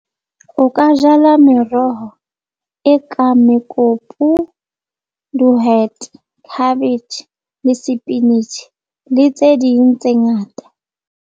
O ka jala meroho e ka mekopu, dihwete, cabbage le le tse ding tse ngata.